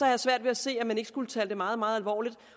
jeg svært ved at se at man ikke skulle tage det meget meget alvorligt